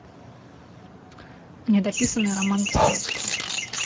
недописанный роман достоевского